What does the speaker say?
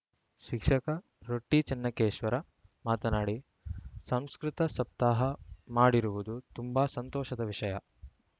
ಶಿಕ್ಷಕ ರೊಟ್ಟಿಚೆನ್ನಕೇಶ್ವರ ಮಾತನಾಡಿ ಸಂಸ್ಕೃತ ಸಪ್ತಾಹ ಮಾಡಿರುವುದು ತುಂಬಾ ಸಂತೋಷದ ವಿಷಯ